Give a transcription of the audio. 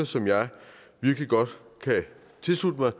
som jeg virkelig godt kan tilslutte mig